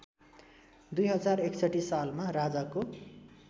२०६१ सालमा राजाको